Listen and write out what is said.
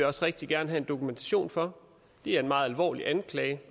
også rigtig gerne have dokumentation for det er en meget alvorlig anklage